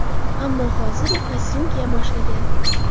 Ammo hozir u kostyum kiya boshlagan.